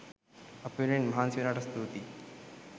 අපි වෙනුවෙන් මහන්සි වෙනවට ස්තුතියි!